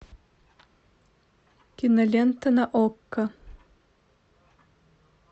кинолента на окко